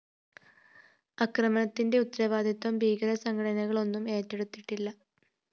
ആക്രമണത്തിന്റെ ഉത്തരവാദിത്വം ഭീകരസംഘടനകളൊന്നും ഏറ്റെടുത്തിട്ടില്ല